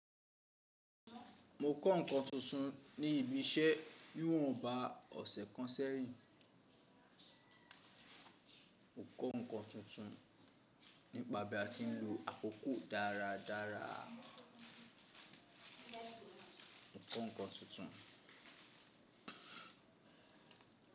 Mo kọ́ nǹkan tuntun ní ibi iṣẹ́ ni won bá ọ̀sẹ̀ kan sẹ́yìn. Mo kọ́ nǹkan tuntun nípa bí a ti ń lo akoko dáradára. Mo kọ́ nǹkan tuntun.